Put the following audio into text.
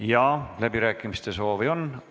Jaa, läbirääkimiste soovi on.